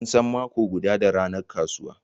An san mako guda da ranar kasuwa.